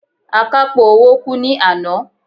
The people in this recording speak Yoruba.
Akápò owó kú ní àná.